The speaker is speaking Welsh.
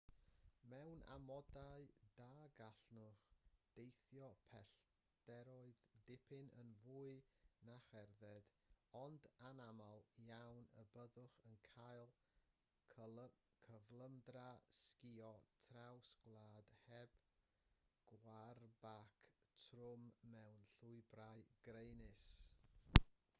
mewn amodau da gallwch deithio pellteroedd dipyn yn fwy na cherdded ond anaml iawn y byddwch yn cael cyflymdra sgïo traws gwlad heb gwarbac trwm mewn llwybrau graenus